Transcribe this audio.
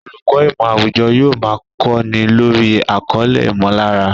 Olùkọ́ ìmọ̀ àwùjọ yóò máa kọ́ni lórí àkọlé "ìmọ̀lára"